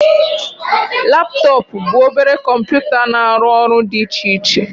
Laptọọpụ bụ obere kọmputa na-arụ ọrụ dị iche iche